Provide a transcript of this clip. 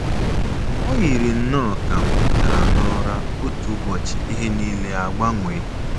O yiri nnọọ ka m tetara ụra otu ụbọchị ihe nile agbanwee.